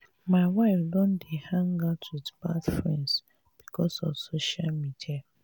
my wife don dey hang out with bad friends because of social media